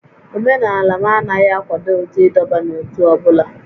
Omenala m anaghị akwado ụdị ịdọba n'ótú ọ bụla